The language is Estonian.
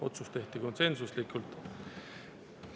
Otsus tehti konsensuslikult.